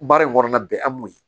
Baara in kɔnɔna bɛn an b'o ye